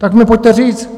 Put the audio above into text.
Tak mi pojďte říct...